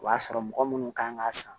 O y'a sɔrɔ mɔgɔ munnu kan ka san